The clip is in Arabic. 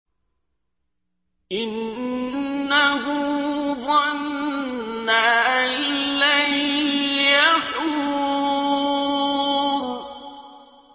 إِنَّهُ ظَنَّ أَن لَّن يَحُورَ